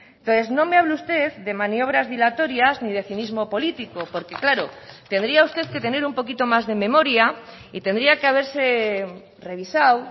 entonces no me hable usted de maniobras dilatorias ni de cinismo político porque claro tendría usted que tener un poquito más de memoria y tendría que haberse revisado